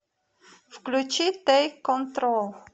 включи тэйк контрол